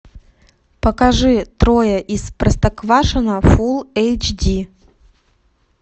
покажи трое из простоквашино фул эйч ди